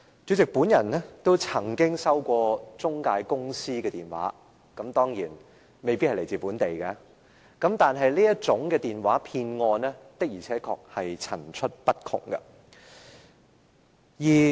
主席，我也曾接獲中介公司來電，當然，這些來電未必來自本地，但這類電話騙案的確層出不窮。